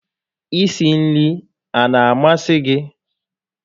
I si nri a na amasị gị?